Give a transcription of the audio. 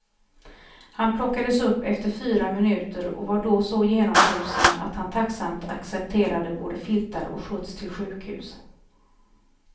Han plockades upp efter fyra minuter och var då så genomfrusen att han tacksamt accepterade både filtar och skjuts till sjukhus.